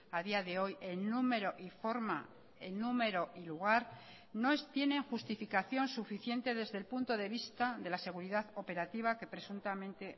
a día de hoy en número y forma en número y lugar no tienen justificación suficiente desde el punto de vista de la seguridad operativa que presuntamente